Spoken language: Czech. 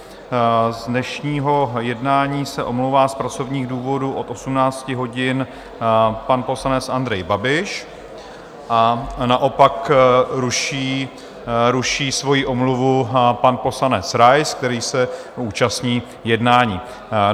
Z dnešního jednání se omlouvá z pracovních důvodů od 18 hodin pan poslanec Andrej Babiš a naopak ruší svoji omluvu pan poslanec Rais, který se účastní jednání.